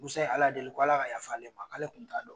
Musa ye Ala deli k' ala ka yafalen ma k'ale kun t'a dɔn.